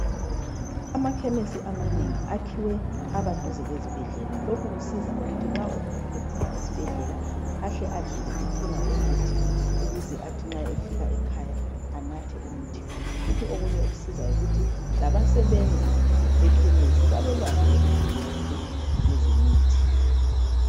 Amakhemisi amanengi akhiwe aba duze kwezibhedlela. Lokhu kusiza ukuthi nxa umuntu ephuma esibhedlela ahle adlule ethenga umuthi ukuze athi nxa efika ekhaya anathe umuthi wakhe. Futhi okunye okusizayo yikuthi abasebenzi bekhemisi balolwazi olukhulu kakhulu ngezemithi.